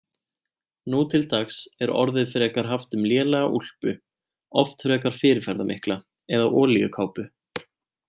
Nú til dags er orðið frekar haft um lélega úlpu, oft frekar fyrirferðarmikla, eða olíukápu.